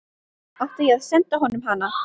Átti ég að senda honum hana?